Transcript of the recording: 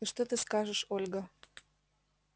и что ты скажешь ольга